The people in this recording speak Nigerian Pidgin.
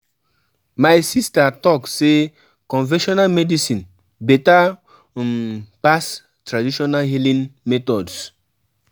My sista tok sey conventional medicine beta um pass traditional healing methods.